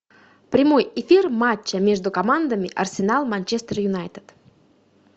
прямой эфир матча между командами арсенал манчестер юнайтед